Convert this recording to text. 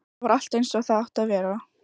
Þar var allt einsog það átti að vera.